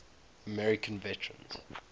american vegetarians